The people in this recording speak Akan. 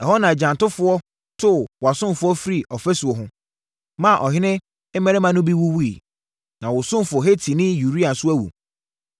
Ɛhɔ na agyantofoɔ too wʼasomfoɔ firii ɔfasuo ho, maa ɔhene mmarima no bi wuwuiɛ. Na wo ɔsomfoɔ Hetini Uria nso awu.”